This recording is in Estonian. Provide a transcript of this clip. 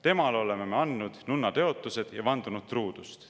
Temale oleme me andnud nunnatõotused ja vandunud truudust.